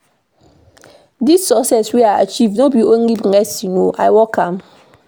Dis success wey I achieve no be only blessing o, I work for am.